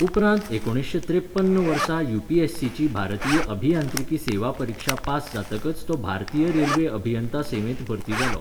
उपरांत एकुणशे त्रेपन्न वर्सा युपीएससीची भारतीय अभियांत्रिकी सेवा परिक्षा पास जातकच तो भारतीय रेल्वे अभियंता सेवेंत भरती जालो.